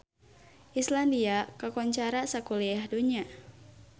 Islandia kakoncara sakuliah dunya